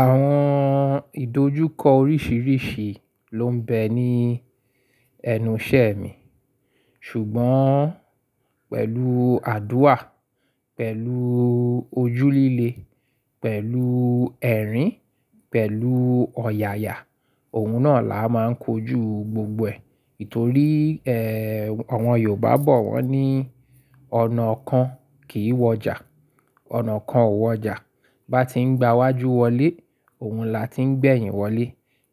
Àwọn ìdojúkọ oríṣiríṣi ló ń bẹ ní ẹnu iṣẹ́ mi, ṣùgbọ́n pẹ̀lú àdúà, pẹ̀lú ojú líle, pẹ̀lú ẹ̀rín, pẹ̀lú ọ̀yàyà, òun náà la máa ń kojú gbogbo ẹ̀. Nítorí, ẹ́, àwọn Yorùbá bọ̀ wọ́n ní, "Ọ̀nà kan kì í wọjà, ọ̀nà kan ò wọjà." Bá ti ń gba wájú wọlé, òun la ti ń gbẹ̀yìn wọlé.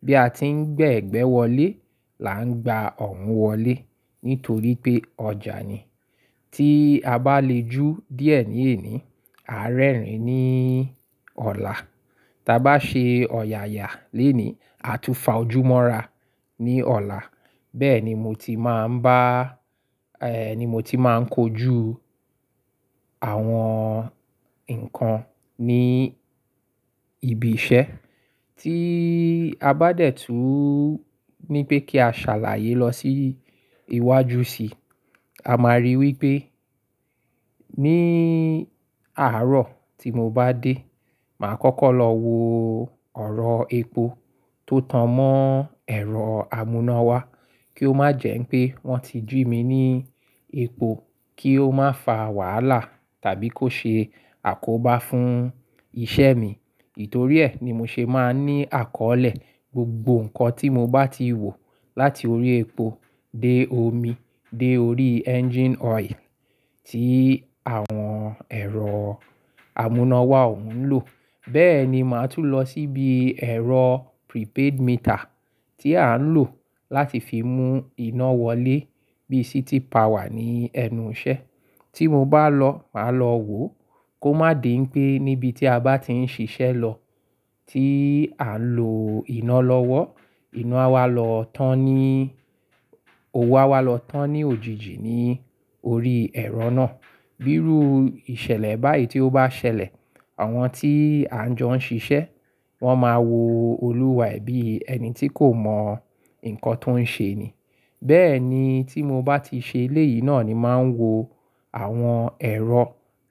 Bí a ti ń gbé ẹ̀gbẹ́ wọlé, là ń gba ọ̀hun wọlé. Nítorí pé ọjà ni. Tí a bá le jú díẹ̀ ní èní, a rẹ́rìn-ín ní ọ̀la. Tí a bá ṣe ọ̀yàyà lénìí, a túfa ojú mọ́ra ní ọ̀la. Bẹ́ẹ̀ ni mo ti máa ń bá, ẹ́, ni mo ti máa ń kojú àwọn nǹkan ní ibi iṣẹ́. Tí a bá dẹ̀tú ní pé kí a ṣàlàyé lọ sí iwájú sí i, a máa ríi wí pé ní àárọ̀ tí mo bá dé, màá kọ́kọ́ lọ wo ọ̀rọ̀ epo tó tan mọ́ ẹ̀rọ amúnáwa kí ó má jẹ́ pé wọ́n ti jù mí ní epo kí ó má fa wàhálà tàbí kó ṣe àkóbá fún iṣẹ́ mi. Nítorí ẹ́ ni mo ṣe máa ń ní àkọ́lẹ́ gbogbo nǹkan tí mo bá ti wò láti orí epo dé omi dé orí engine oil tí àwọn ẹ̀rọ amúnáwa òun ń lò. Bẹ́ẹ̀ ni màá tún lọ síbi ẹ̀rọ prepaid meter tí à ń lò láti fi mú iná wọlé bí City Power ní ẹnu iṣẹ́. Tí mo bá lọ, màá lọ wò kó má dì ń pé níbi tí a bá ti ń ṣiṣẹ́ lọ, tí à ń lò iná lọ́wọ́, inú á wá lọ tán ní, owó á wá lọ tán ní òjijì ní orí ẹ̀rọ náà. Bírú ìṣẹ̀lẹ̀ báyìí tí ó bá ṣẹlẹ̀, àwọn tí à ń jọ ń ṣiṣẹ́, wọ́n máa wo olùwà bí ẹni tí kò mọ nǹkan tó ń ṣe ni. Bẹ́ẹ̀ ni tí mo bá ti ṣe eléyìí náà ni màá ń wo àwọn ẹ̀rọ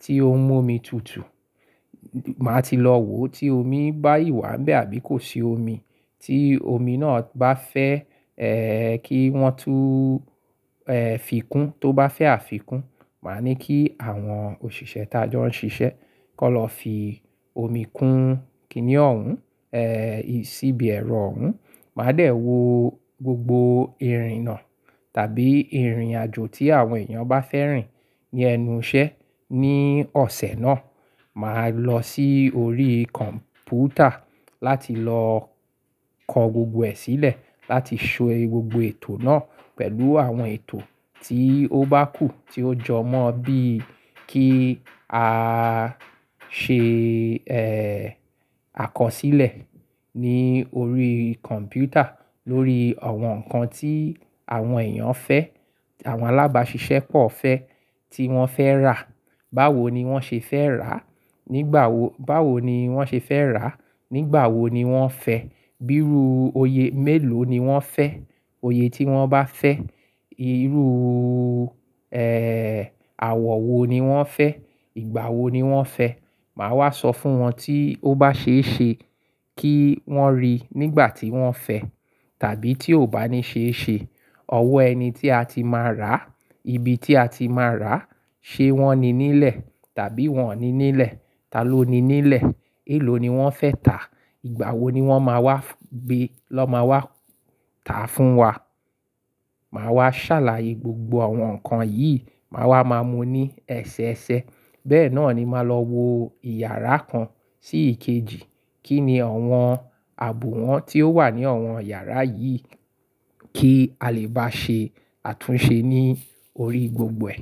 tí ó ń mú omi tutù. Màá ti lọ wò tí omi bá si wà ń bẹ àbí kò ṣi omi. Tí omi náà bá fẹ́, ẹ́, kí wọ́n tún, ẹ́, fi kún, tó bá fẹ́ àfikún, màá ní kí àwọn òṣìṣẹ́ tí a jọ ń ṣiṣẹ́ kó lọ fi omi kún kìnìún, ẹ́, síbi ẹ̀rọ òun. Màá dẹ̀ wò gbogbo irinà tàbí ìrìnàjò tí àwọn èèyàn bá fẹ́ rìn ní ẹnu iṣẹ́ ní ọ̀sẹ̀ náà. Màá lọ sí orí kọ̀m̀pútà láti lọ kọ gbogbo ẹ̀ sílẹ̀ láti ṣọ gbogbo ètò náà pẹ̀lú àwọn ètò tí ó bá kù tí ó jọ mọ́ bíi kí a ṣe, ẹ́, àkọsílẹ̀ ní orí kọ̀m̀pútà lórí àwọn nǹkan tí àwọn èèyàn fẹ́, àwọn alábàáṣiṣẹ́ pọ̀ fẹ́ tí wọ́n fẹ́ rà. Báwo ni wọ́n ṣe fẹ́ rà? Nígbà wo, báwo ni wọ́n ṣe fẹ́ rà? Nígbà wo ni wọ́n fẹ́? Bírú oyè mélòó ni wọ́n fẹ́? Oyè tí wọ́n bá fẹ́. Irú, ẹ́, àwọ̀ wo ni wọ́n fẹ́? Ìgbà wo ni wọ́n fẹ́? Màá wá sọ fún wọn tí ó bá ṣe é ṣe kí wọ́n rí i nígbà tí wọ́n fẹ́. Tàbí tí ò bá ní ṣe é ṣe, ọwọ́ ẹni tí a ti máa rà, ibi tí a ti máa rà, ṣe wọ́n ni nílẹ̀ tàbí wọ́n ò ní nílẹ̀? Ta ló ni nílẹ̀? Èló ni wọ́n fẹ́ tà? Ìgbà wo ni wọ́n máa wá gbé lọ́ ma wá tà fún wa? Màá wá ṣàlàyé gbogbo àwọn nǹkan yìí, màá wá máa mu ní ẹsẹ ẹsẹ. Bẹ́ẹ̀ náà ni màá lọ wo ìyàrá kan sí èkejì. Kí ni àwọn ààbò wọn tí ó wà ní àwọn yàrá yìí kí a lè bá ṣe àtúnṣe ní orí gbogbo ẹ̀?